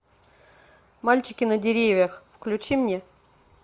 мальчики на деревьях включи мне